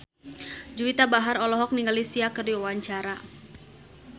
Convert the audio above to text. Juwita Bahar olohok ningali Sia keur diwawancara